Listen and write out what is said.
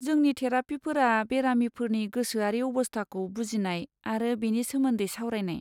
जोंनि थेरापिफोरा बेरामिफोरनि गोसोआरि अबस्थाखौ बुजिनाय आरो बेनि सोमोन्दै सावरायनाय।